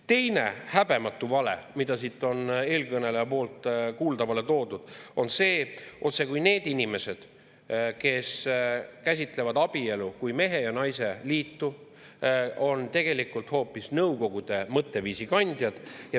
Teine häbematu vale, mida eelkõneleja kuuldavale tõi, on see, otsekui need inimesed, kes käsitlevad abielu kui mehe ja naise liitu, on tegelikult hoopis Nõukogude mõtteviisi kandjad.